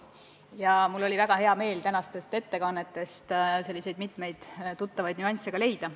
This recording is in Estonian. Ja mul oli väga hea meel tänastest ettekannetest mitmeid tuttavaid nüansse tabada.